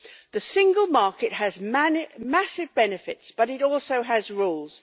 The single market has massive benefits, but it also has rules.